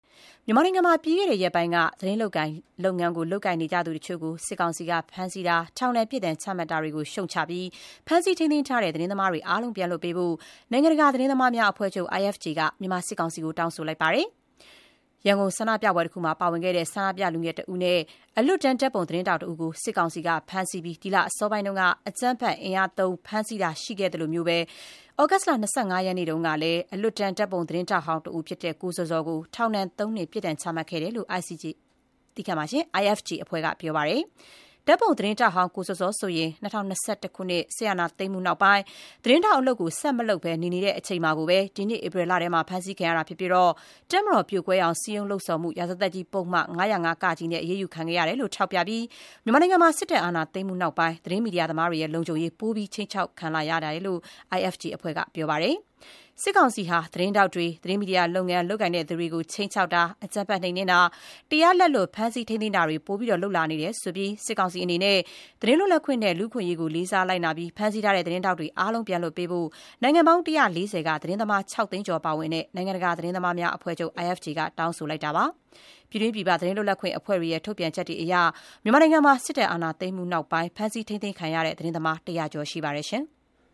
မြန်မာနိုင်ငံမှာ ပြီးခဲ့တဲ့ရက်ပိုင်းက သတင်းလုပ်ငန်းလုပ်ကိုင်နေသူတချို့ကို စစ်ကောင်စီက ဖမ်းဆီးတာ၊ ထောင်ဒဏ် ပြစ်ဒဏ်ချမှတ်တာတွေကို ရှုတ်ချပြီး ဖမ်းဆီးထိန်းသိမ်းထားတဲ့သတင်းသမားအားလုံး ပြန်လွှတ်ပေးဖို့ နိုင်ငံတကာ သတင်းသမားများအဖွဲ့ချုပ် IFJ က မြန်မာစစ်ကောင်စီကို တောင်းဆိုလိုက်ပါတယ်။ ရန်ကုန်ဆန္ဒပြပွဲတခုမှာပါဝင်ခဲ့တဲ့ ဆန္ဒပြလူငယ်တဦးနဲ့ အလွတ်တန်းဓာတ်ပုံ သတင်းထောက်တဦးကို စစ်ကောင်စီက ဒီလအစောပိုင်းက အကြမ်းဖက် အင်အားသုံး ဖမ်းဆီးတာရှိခဲ့သလို သြဂုတ်လ ၂၅ ရက်၊ မနေ့တုန်းကတော့ အလွတ်တန်း ဓာတ်ပုံသတင်းထောက်ဟောင်းတဦးဖြစ်တဲ့ ကိုဇော်ဇော်ကို ထောင်ဒဏ် ၃ နှစ် ပြစ်ဒဏ် ချမှတ်ခဲ့တယ်လို့ IFJ အဖွဲ့က ပြောပါတယ်။ ဓာတ်ပုံ သတင်းထောက်ဟောင်း ကိုဇော်ဇော်ဆိုရင် ၂၀၂၁ စစ်အာဏာသိမ်းမှု နောက်ပိုင်း သတင်းထောက် အလုပ် ဆက်မလုပ်ဘဲ နေ နေတဲ့အချိန် ဒီနှစ် ဧပြီလထဲ ဖမ်းဆီးခံရတာဖြစ်ပါတယ်။ တပ်မတော်ပြိုကွဲအောင် စည်းရုံးလှုံ့ဆော်မှု ရာဇသတ်ကြီး ပုဒ်မ ၅၀၅ နဲ့ သူ့ကို အရေးယူခံခဲ့ရတယ်လို့ ထောက်ပြပြီး မြန်မာနိုင်ငံမှာ စစ်တပ် အာဏာသိမ်းမှု နောက်ပိုင်း သတင်းမီဒီယာသမားတွေရဲ့ လုံခြုံရေး ပိုပြီး ခြိမ်းခြောက်ခံလာ နေရတယ်လို့ IFJ အဖွဲ့က ပြောပါတယ်။ စစ်ကောင်စီဟာ သတင်းထောက်တွေ၊ သတင်းမီဒီယာလုပ်ငန်း လုပ်ကိုင်သူတွေကို ခြိမ်းခြောက်တာ၊ အကြမ်းဖက် နှိမ်နင်းတာ၊ တရားလက်လွတ် ဖမ်းဆီး ထိန်းသိမ်းတာတွေ ပိုမို လုပ်လာနေတယ်လို့ ဆိုပြီး စစ်ကောင်စီအနေနဲ့ သတင်းလွတ်လပ် ခွင့်နဲ့ လူ့အခွင့်အရေးကို လေးစားလိုက်နာပြီး ဖမ်းဆီးထားတဲ့ သတင်းထောက်တွေ အားလုံးပြန်လွတ်ပေးဖို့ နိုင်ငံပေါင်း ၁၄၀ က သတင်းသမား ၆ သိန်းကျော် ပါဝင်တဲ့ နိုင်ငံတကာ သတင်းသမားများ အဖွဲ့ချုပ် IFJ က တောင်းဆိုပါတယ်။ ပြည်တွင်း ပြည်ပ သတင်းလွတ်လပ်ခွင့်အဖွဲ့တွေရဲ့ ထုတ်ပြန်ချက်တွေအရ မြန်မာနိုင်ငံမှာ စစ်တပ်အာဏာသိမ်းမှု နောက်ပိုင်း ဖမ်းဆီး ထိန်းသိမ်းခံရတဲ့ သတင်းသမား ၁၀၀ ကျော် ရှိပါတယ်။